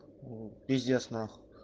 пиздец нахуй